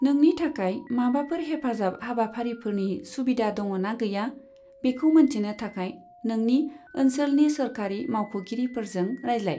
नोंनि थाखाय माबाफोर हेफाजाब हाबाफारिफोरनि सुबिदा दङ' ना गैया, बेखौ मोनथिनो थाखाय नोंनि ओनसोलनि सोरखारि मावख'गिरिफोरजों रायज्लाय।